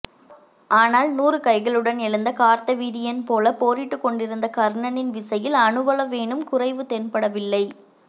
ஆனால் நூறு கைகளுடன் எழுந்த கார்த்தவீரியன்போல போரிட்டுக்கொண்டிருந்த கர்ணனின் விசையில் அணுவளவேனும் குறைவு தென்படவில்லை